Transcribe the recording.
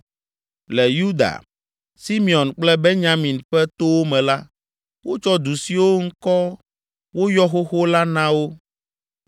Le Yuda, Simeon kple Benyamin ƒe towo me la, wotsɔ du siwo ŋkɔ woyɔxoxo la na wo.